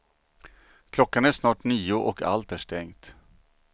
Klockan är snart nio och allt är stängt.